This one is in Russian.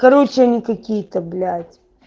короче они какие-то блять